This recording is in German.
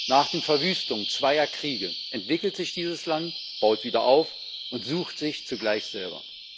Nach den Verwüstungen zweier Kriege entwickelt sich dieses Land, baut wieder auf und sucht sich zugleich selber.